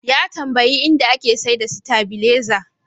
Ya tambayi inda ake saida sitabileza.